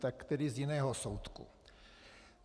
Tak tedy z jiného soudku.